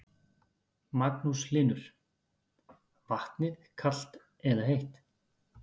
Magnús Hlynur: Vatnið kalt eða heitt?